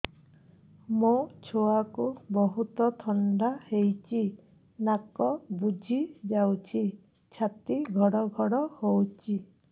ମୋ ଛୁଆକୁ ବହୁତ ଥଣ୍ଡା ହେଇଚି ନାକ ବୁଜି ଯାଉଛି ଛାତି ଘଡ ଘଡ ହଉଚି